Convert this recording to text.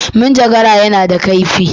Cisir yana da kaifi.